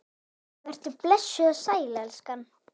Vertu blessuð og sæl, elskan!